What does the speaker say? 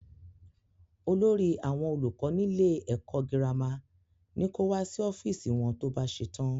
Olórí àwọn olùkọ́ nílé ẹkọ gírámà ní ko wá sí ọ́fíìsì wọn to bá ṣetán.